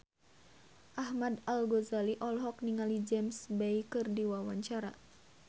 Ahmad Al-Ghazali olohok ningali James Bay keur diwawancara